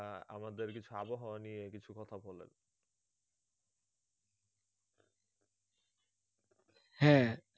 হ্যাঁ